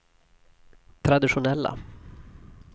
traditionella